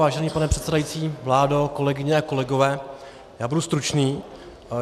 Vážený pane předsedající, vládo, kolegyně a kolegové, já budu stručný.